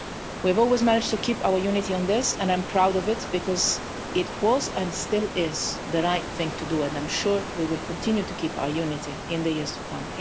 it. We have always managed to keep our unity on this, and I am proud of it because this was and still is the right thing to do, and I am sure that we will continue to keep our unity in the years to come.